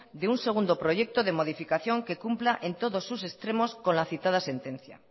de un segundo proyecto de modificación que cumpla en todos sus extremos con la citada sentencia